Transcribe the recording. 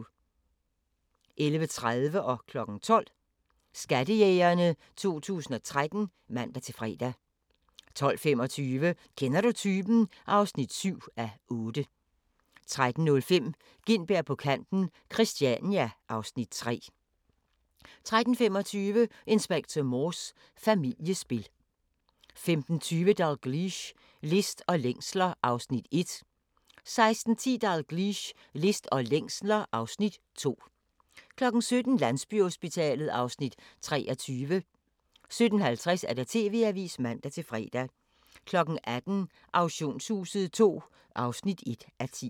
11:30: Skattejægerne 2013 (man-fre) 12:00: Skattejægerne 2013 (man-fre) 12:25: Kender du typen? (7:8) 13:05: Gintberg på kanten - Christania (Afs. 3) 13:35: Inspector Morse: Familiespil 15:20: Dalgliesh: List og længsler (Afs. 1) 16:10: Dalgliesh: List og længsler (Afs. 2) 17:00: Landsbyhospitalet (Afs. 23) 17:50: TV-avisen (man-fre) 18:00: Auktionshuset II (1:10)